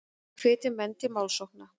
Hvetja menn til málsókna